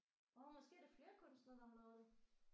Åh måske er det flere kunstnere der har lavet det